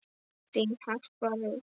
Þín Harpa Rut.